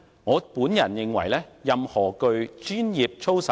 我們認為答案絕對是否定的。